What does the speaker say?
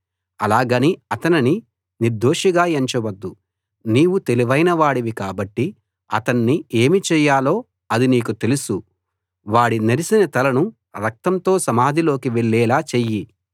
అలాగని అతనిని నిర్దోషిగా ఎంచవద్దు నీవు తెలివైన వాడివి కాబట్టి అతణ్ణి ఏమి చెయ్యాలో అది నీకు తెలుసు వాడి నెరసిన తలను రక్తంతో సమాధిలోకి వెళ్ళేలా చెయ్యి